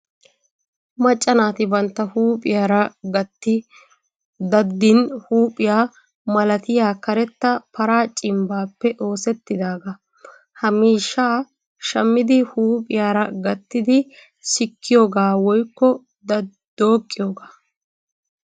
Macca naati bantta huuphiyaara gatti daddin huuphiya malatiya karetta paraa cimbbaappe oosettidaagaa. Ha miishshaa shammidi huuphiyaara gattidi sikkiyoogaa woyikko dooqqiyoogaa.